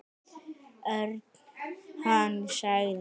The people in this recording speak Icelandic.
Örn. Hann sagði.